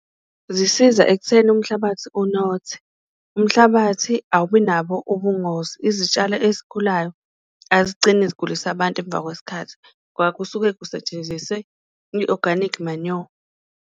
Zisiza ekutheni umhlabathi unothe umhlabathi awubi nabo ubungozi, izitshalo ezikhulayo azigcini zigulisa abantu emva kwesikhathi ngoba kusuke kusetshenzise i-organic manure.